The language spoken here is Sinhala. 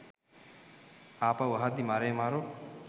ආපහු අහද්දි මරේ මරු